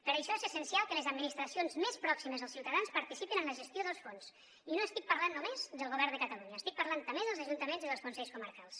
per això és essencial que les administracions més pròximes als ciutadans participin en la gestió dels fons i no estic parlant només del govern de catalunya estic parlant també dels ajuntaments i dels consells comarcals